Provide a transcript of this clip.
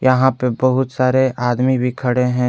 यहां पे बहुत सारे आदमी भी खड़े हैं।